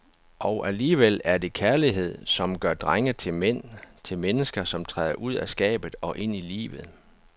Og alligevel er det kærlighed som gør drenge til mænd, til mennesker, som træder ud af skabet og ind i livet.